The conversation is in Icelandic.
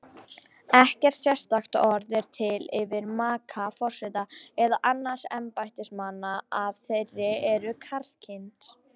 Ekkert sérstakt orð er til yfir maka forseta eða annarra embættismanna ef þeir eru karlkyns.